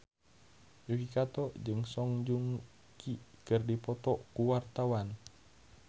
Yuki Kato jeung Song Joong Ki keur dipoto ku wartawan